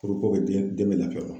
Kuruko den bɛ lafiyama.